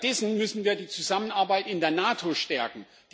Stattdessen müssen wir die Zusammenarbeit in der NATO stärken.